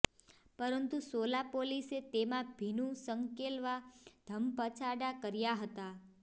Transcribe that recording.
પરંતુ સોલા પોલીસે તેમા ભીનુ સંકેલવા ધમપછાડા કર્યા હતા